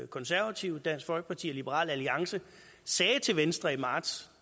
konservative dansk folkeparti og liberal alliance sagde til venstre i marts